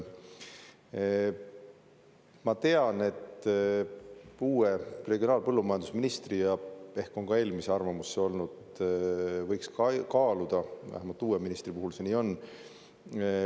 Ma tean, et uue regionaal- ja põllumajandusministri, ja ehk on ka eelmise arvamus see olnud, et võiks kaaluda, vähemalt uue ministri puhul see nii on.